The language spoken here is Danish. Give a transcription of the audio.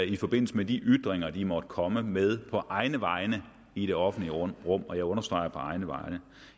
i forbindelse med de ytringer de måtte komme med på egne vegne i det offentlige rum rum og jeg understreger på egne vegne